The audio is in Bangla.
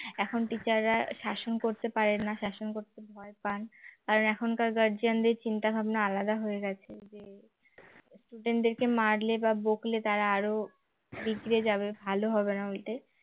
এখন teacher রা শাসন করতে পারেন না শাসন করতে ভয় পান কারণ এখনকার guardian দের চিন্তাভাবনা আলাদা হয়ে গেছে যে student দেরকে মারলে বা বকলে তারা আরো বিগ্রে যাবে ভালো হবে না ওইটাই